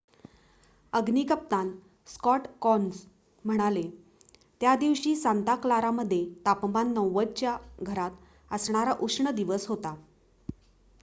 अग्नी कप्तान Scott Kouns म्हणाले त्या दिवशी सांता क्लारा मध्ये तापमान 90 च्या घरात असणारा उष्ण दिवस होता